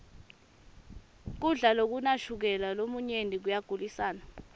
kudla lokunashukela lomunyenti koyagulisana